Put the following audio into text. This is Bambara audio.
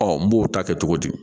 n b'o ta kɛ cogo di